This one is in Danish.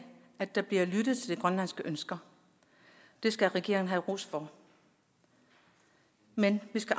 der bliver lyttet til de grønlandske ønsker det skal regeringen have ros for men vi skal